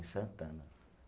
Santana.